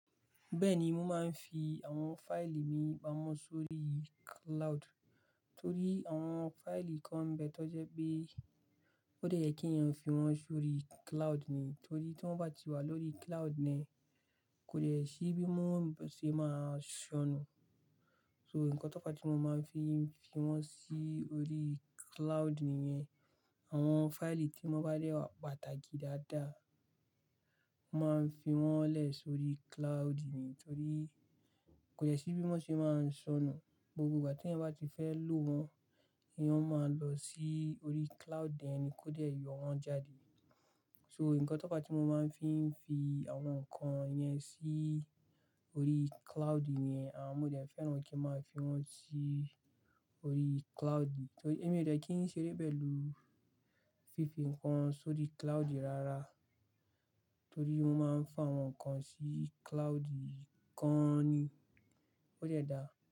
Bẹ́ẹ̀ni, mo máa ń fi àwọn fáìlì mi pamọ́ sórí cloud, torí àwọn fáìlì kan n bẹ́ẹ̀ tó jẹ́ pé ó dẹ yẹ kí èèyàn fi wọ́n sórí cloud ni. Torí tí wọ́n bá ti wà lórí cloud ni kò le ṣí bí wọ́n ṣe máa ṣọnù. So, ǹkan tó fa tí mo máa ń fi n fi wọ́n sí orí cloud nìyẹn. Àwọn fáìlì tí mo bá rí pàtàkì dáadáa, mo máa ń fi wọ́n lẹ̀ sórí cloud ni torí kò de ṣí bí wọ́n ṣe máa ṣọnù. Gbogbo ìgbà tí ẹ̀eyan bá ti fẹ́ lò wọ́n, èèyàn máa lọ sí orí cloud ẹ́ni kó dẹ̀ yọ wọ́n jáde. So, ǹkan tó fa tí mo máa ń fi fi àwọn nǹkan yẹn sí orí cloud ni à mo dẹ̀ fẹ́ràn kí n máa fi wọ́n sí orí cloud. Torí èmi ò dẹ́ kí ń ṣeré pẹ̀lú fífi nǹkan sórí cloud rárá, torí mo máa ń fi àwọn nǹkan sí cloud kan ni. Ó de da.